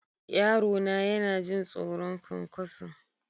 Yarona yana jin tsoron ƙwanƙwaso.